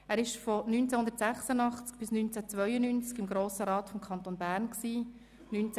Er gehörte von 1986 bis 1992 dem Grossen Rat des Kantons Bern an.